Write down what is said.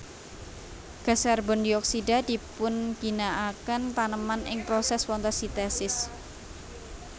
Gas karbondioksida dipunginakaken taneman ing prosès fotosintèsis